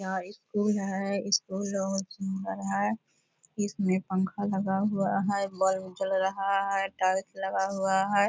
यह एक पूल है इसको लोह सुंदर है इसमें पंखा लगा हुआ है बल्ब जल रहा है टाइल्स लगा हुआ है।